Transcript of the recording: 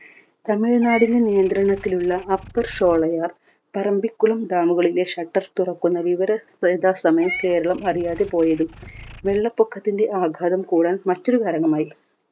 തമിഴ് നാടിന് നിയന്ത്രണത്തിലുള്ള upper Sholayar Parambikulam dam കളിലെ shutter തുറക്കുന്ന വിവരം യഥാസമയം കേരളം അറിയാതെ പോയതും വെള്ളപൊക്കത്തിന്റെ ആഘാതം കൂടാൻ മറ്റൊരു കാരണമായി.